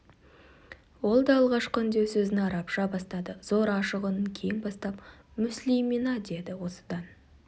ол да алғашқы үндеу сөзін арабша бастады зор ашық үнін кең тастап мүслимина деді осыдан